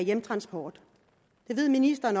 hjemtransport det ved ministeren